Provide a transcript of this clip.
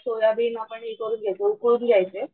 soybean आपण ही करून घ्यायचे उकळून घ्यायचे